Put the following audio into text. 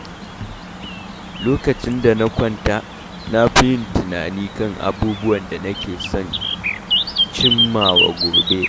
Lokacin da na kwanta, na fi yin tunani kan abubuwan da nake son cimmawa gobe.